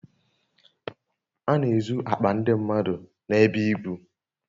A n'ezu akpa ndi mmadu n'ebe ibu